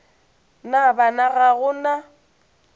na bana ga go na